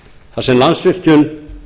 þar sem landsvirkjun